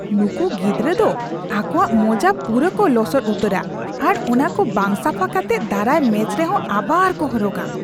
ᱱᱩᱝᱠᱩ ᱜᱤᱫᱨᱟᱹ ᱫᱚ ᱟᱠᱚᱣᱟᱜ ᱢᱳᱡᱟ ᱯᱩᱨᱟᱹ ᱠᱚ ᱞᱚᱥᱚᱫ ᱩᱛᱟᱹᱨᱟ ᱟᱨ ᱚᱱᱟᱠᱚ ᱵᱟᱝ ᱥᱟᱯᱷᱟ ᱠᱟᱛᱮᱫ ᱫᱟᱨᱟᱭ ᱢᱮᱪ ᱨᱮᱦᱚ ᱟᱵᱟᱨ ᱠᱚ ᱦᱚᱨᱚᱜᱼᱟ ᱾